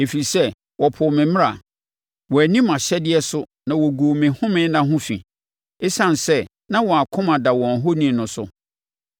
ɛfiri sɛ, wɔpoo me mmara, wɔanni mʼahyɛdeɛ so na wɔguu me home nna ho fi, ɛsiane sɛ na wɔn akoma da wɔn ahoni no so.